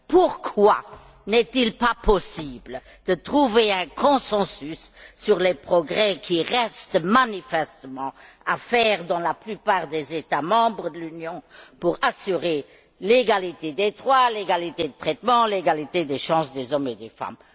Pourquoi n'est il pas possible de trouver un consensus sur les progrès qui restent manifestement à faire dans la plupart des États membres pour assurer l'égalité des droits, l'égalité de traitement, l'égalité des chances entre les hommes et les femmes?